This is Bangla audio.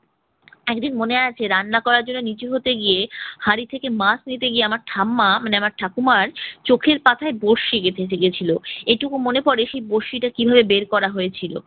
একদিন মনে আছে রান্না করার জন্য নিচু হতে গিয়ে, হাড়ি থেকে মাছ নিতে গিয়ে আমার ঠাম্মা মানে ঠাকুরমার চোখের পাতায় বড়শি গেঁথে গে~ গিয়েছিল। এটুকু মনে পড়ে সে বড়শিটা কিভাবে বের করা হয়েছিল।